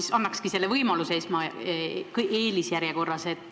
Ma annakski selle võimaluse eelisjärjekorras.